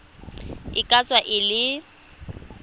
e ka tswa e le